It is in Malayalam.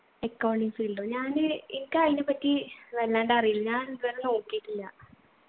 accounting field ഓ ഞാന് എനിക്കതിനെപ്പറ്റി വല്ലാണ്ട് അറീല ഞാൻ ഇതുവരെ നോക്കീട്ടില്ല